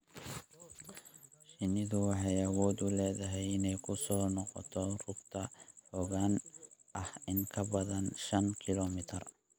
Shinnidu waxay awood u leedahay inay ku soo noqoto rugta fogaan ah in ka badan shan kiiloomitir.